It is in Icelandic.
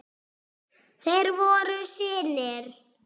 Þeir voru synir